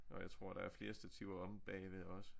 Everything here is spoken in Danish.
Og jeg tror der er flere stativer omme bagved også